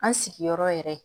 An sigiyɔrɔ yɛrɛ